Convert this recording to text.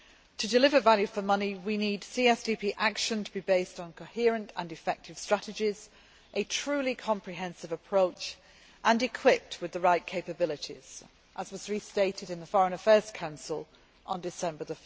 To deliver value for money we need CSDP action to be based on coherent and effective strategies and a truly comprehensive approach and equipped with the right capabilities, as was restated in the Foreign Affairs Council on 1 December.